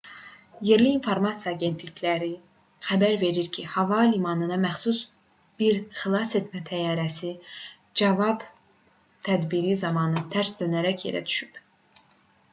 yerli informasiya agentlikləri xəbər verir ki hava limanına məxsus bir xilasetmə təyyarəsi cavab tədbiri zamanı tərs dönərək yerə düşüb